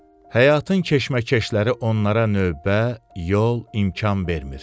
Həyatın keşməkeşləri onlara növbə, yol, imkan vermir.